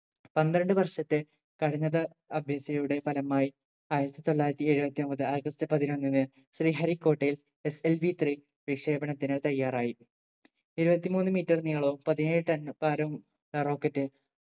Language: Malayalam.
പന്ത്രണ്ട് വർഷത്തെ കഠിനത അഭ്യാസിയുടെ ഫലമായി ആയിരത്തി തൊള്ളായിരത്തി എഴുപത്തിമൂന്ന് ആഗസ്റ്റ് പതിനൊന്നിന് ശ്രീഹരി കോട്ടയിൽ SLV3 വിക്ഷേപണനത്തിന് തയ്യാറായി എഴുപത്തി മൂന്ന് meter നീളവും പതിനേഴ് ton ഭാരവും ഉള്ള rocket